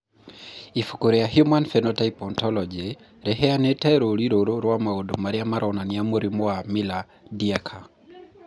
Ibuku rĩa Human Phenotype Ontology rĩheanĩte rũũri rũrũ rwa maũndũ marĩa maronania mũrimũ wa Miller Dieker.